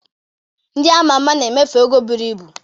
Ndị a ma ama na-emefu ego buru ibu.